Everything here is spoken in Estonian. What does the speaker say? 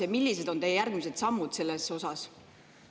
Ja millised on teie järgmised sammud selles osas?